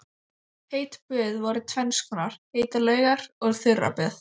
Heit böð voru tvenns konar, heitar laugar og þurraböð.